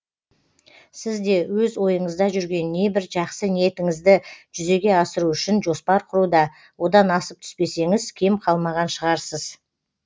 сіз де өз ойыңызда жүрген небір жақсы ниеттіңізді жүзеге асыру үшін жоспар құруда одан асып түспесеңіз кем қалмаған шығарсыз